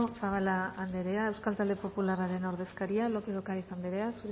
zabala anderea euskal talde popularraren ordezkaria lópez de ocariz anderea